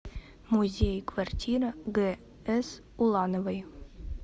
музей квартира гс улановой